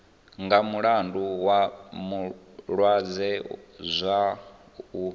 nga mulandu wa malwadze zwao